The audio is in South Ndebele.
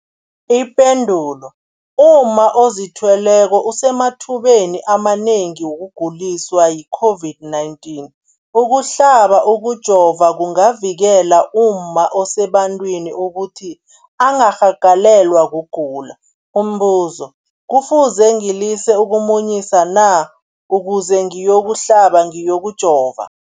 Ipendulo, umma ozithweleko usemathubeni amanengi wokuguliswa yi-COVID-19. Ukuhlaba, ukujova kungavikela umma osebantwini ukuthi angarhagalelwa kugula. Umbuzo, kufuze ngilise ukumunyisa na ukuze ngiyokuhlaba, ngiyokujova?